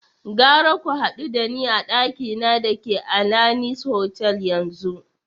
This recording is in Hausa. Gara ku hadu da ni a dakina da ke Alanis Hotel yanzu!